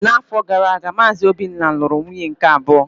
N'afọ gara aga, Maazị Obinna lụrụ nwunye nke abụọ.